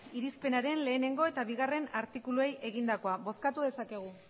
irizpenaren batgarrena eta bigarrena artikuluei egindakoa bozkatu dezakegu